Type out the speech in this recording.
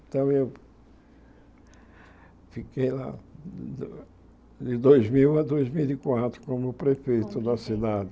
Então eu fiquei lá de dois mil a dois mil como prefeito da cidade.